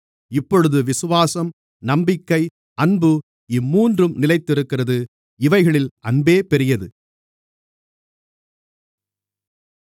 இப்பொழுது விசுவாசம் நம்பிக்கை அன்பு இம்மூன்றும் நிலைத்திருக்கிறது இவைகளில் அன்பே பெரியது